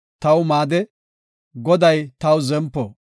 Xoossay taw maade; Goday taw zempo.